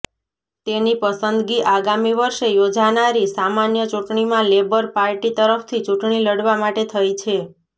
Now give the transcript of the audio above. તેની પસંદગી આગામી વર્ષે યોજાનારી સામાન્ય ચૂંટણીમાં લેબર પાર્ટી તરફથી ચૂંટણી લડવા માટે થઈ છે